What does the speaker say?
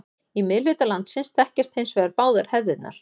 Í miðhluta landsins þekkjast hins vegar báðar hefðirnar.